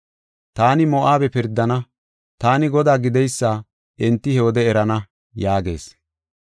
Taani Moo7abe pirdana; taani Godaa gideysa enti he wode erana” yaagees.